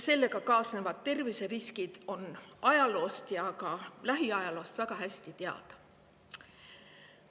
Sellega kaasnevad terviseriskid on ajaloost ja ka lähiajaloost väga hästi teada.